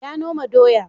Ya noma doya.